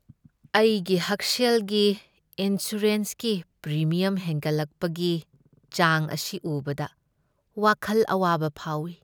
ꯑꯩꯒꯤ ꯍꯛꯁꯦꯜꯒꯤ ꯏꯟꯁꯨꯔꯦꯟꯁꯀꯤ ꯄ꯭ꯔꯤꯃꯤꯌꯝ ꯍꯦꯟꯒꯠꯂꯛꯄꯒꯤ ꯆꯥꯡ ꯑꯁꯤ ꯎꯕꯗ ꯋꯥꯈꯜ ꯑꯋꯥꯕ ꯐꯥꯎꯏ꯫